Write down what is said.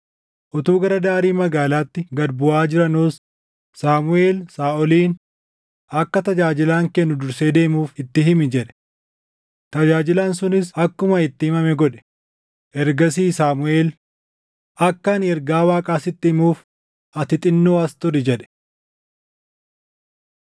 Utuu gara daarii magaalaatti gad buʼaa jiranuus Saamuʼeel Saaʼoliin, “Akka tajaajilaan kee nu dursee deemuuf itti himi” jedhe. Tajaajilaan sunis akkuma itti himame godhe; ergasii Saamuʼeel, “Akka ani ergaa Waaqaa sitti himuuf ati xinnoo as turi” jedhe.